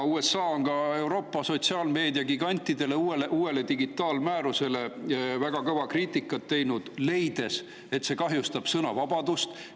USA on ka sotsiaalmeediagigantide Euroopa uue digi määruse kohta väga kõva kriitikat teinud, leides, et see kahjustab sõnavabadust.